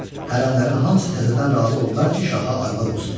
Hərəmlərin hamısı təzədən razı oldular ki, şaha arvad olsunlar.